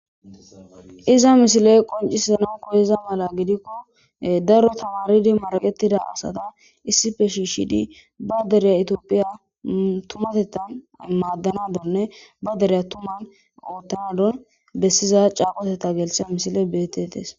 Iza misile qoncisana koyeza mala gidikko daro tamaridi maraqetida asata issippe shiishidi ba deriya etiophiya tumatettan maaddanadanne ba deriya tuman oottanadan bessiza caaqotetta gelishe misile betetes.